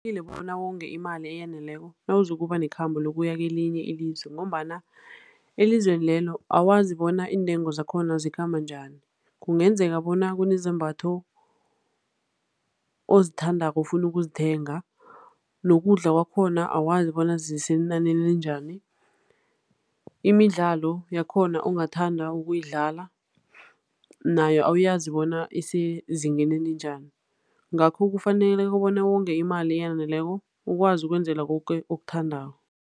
Bona wonge imali eyaneleko nawuzokuba nekhambo lokuya kelinye ilizwe ngombana elizweni lelo awazi bona iintengo zakhona zikhamba njani. Kungenzeka bona kunezambatho ozithandako ofuna ukuzithenga nokudla kwakhona awazi bona zisenanini elinjani, imidlalo yakhona ongathanda ukuyidlala nayo awuyazi bona isezingeni elinjani. Ngakho kufaneleke bona wonge imali eyaneleko, ukwazi ukwenzela koke okuthandako.